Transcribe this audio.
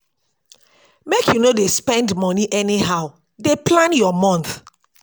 make you no dey spend moni anyhow dey plan your month.